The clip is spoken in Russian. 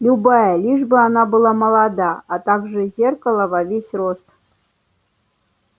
любая лишь бы она была молода а также зеркало во весь рост